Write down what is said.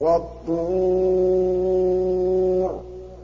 وَالطُّورِ